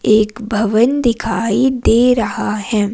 एक भवन दिखाई दे रहा है।